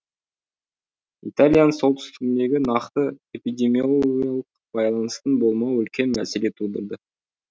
италияның солтүстігіндегі нақты эпидемиологиялық байланыстың болмауы үлкен мәселе тудырды